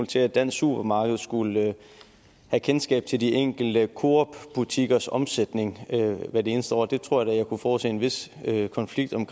til at dansk supermarked skulle have kendskab til de enkelte coop butikkers omsætning hvert eneste år det tror jeg da jeg kunne forudse en vis konflikt om